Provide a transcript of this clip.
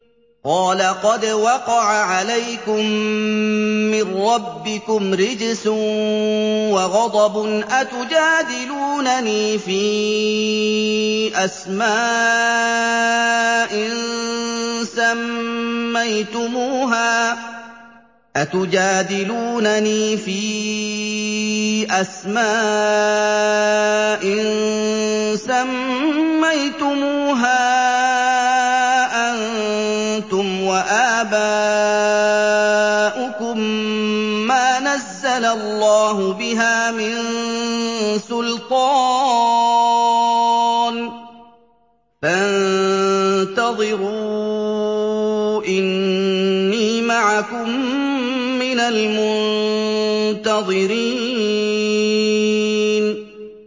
قَالَ قَدْ وَقَعَ عَلَيْكُم مِّن رَّبِّكُمْ رِجْسٌ وَغَضَبٌ ۖ أَتُجَادِلُونَنِي فِي أَسْمَاءٍ سَمَّيْتُمُوهَا أَنتُمْ وَآبَاؤُكُم مَّا نَزَّلَ اللَّهُ بِهَا مِن سُلْطَانٍ ۚ فَانتَظِرُوا إِنِّي مَعَكُم مِّنَ الْمُنتَظِرِينَ